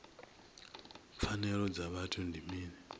pfanelo dza vhuthu ndi mini